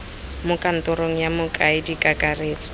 mo kantorong ya mokaedi kakaretso